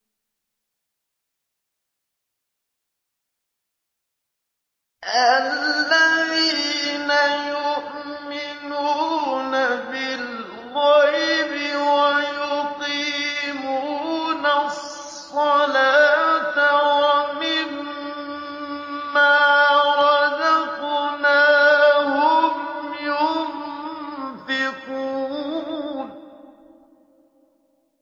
الَّذِينَ يُؤْمِنُونَ بِالْغَيْبِ وَيُقِيمُونَ الصَّلَاةَ وَمِمَّا رَزَقْنَاهُمْ يُنفِقُونَ